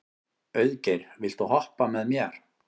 Auðgeir, viltu hoppa með mér?